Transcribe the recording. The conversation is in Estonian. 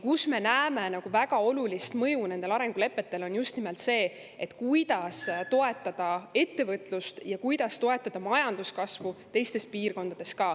Me näeme väga olulist mõju nendel arengulepetel just nimelt selles, kuidas toetada ettevõtlust ja kuidas toetada majanduskasvu ka teistes piirkondades.